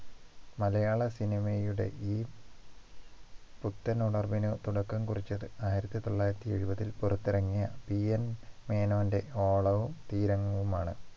മലയാള cinema യുടെ ഈ പുത്തൻ ഉണർവിന് തുടക്കം കുറിച്ചത് ആയിരത്തി തൊള്ളായിരത്തി എഴുപതിൽ പുറത്തിറങ്ങിയ PN മേനോന്റെ ഓളവും തീരങ്ങളുമാണ്